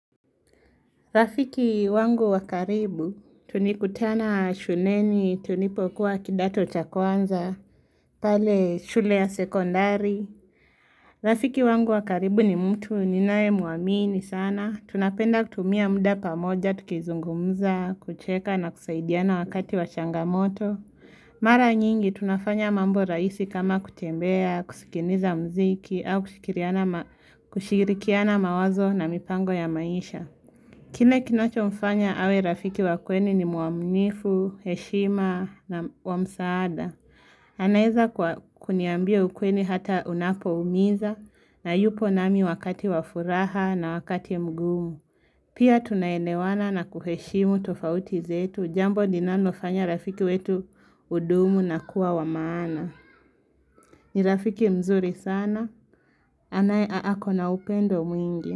Rafiki wangu wakaribu, tunikutana shuleni, tulipokuwa kidato cha kwanza, pale shule ya sekondari. Rafiki wangu wakaribu ni mtu, ninae muamini sana. Tunapenda kutumia muda pamoja, tukizungumza, kucheka na kusaidiana wakati wa changamoto. Mara nyingi, tunafanya mambo raisi kama kutembea, kusikiniza mziki, au kushikirikiana mawazo na mipango ya maisha. Kile kinacho mfanya awe rafiki wakweli ni muaminifu, heshima na wa msaada. Anaeza kuniambia ukweli hata unapo umiza na yupo nami wakati wafuraha na wakati mgumu. Pia tunaelewana na kuheshimu tofauti zetu jambo linalo fanya urafiki wetu udumu na kuwa wa maana. Ni rafiki mzuri sana. Anae aako na upendo mwingi.